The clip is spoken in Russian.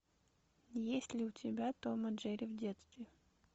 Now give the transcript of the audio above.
есть ли у тебя том и джерри в детстве